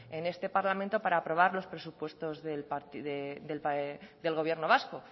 en este parlamento para aprobar los presupuestos del gobierno vasco